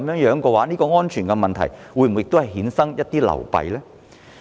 若然，在安全問題上會否衍生一些流弊呢？